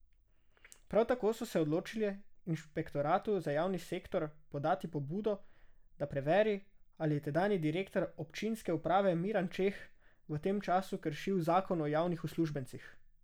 Prav tako so se odločili inšpektoratu za javni sektor podati pobudo, da preveri, ali je tedanji direktor občinske uprave Miran Čeh v tem času kršil zakon o javnih uslužbencih.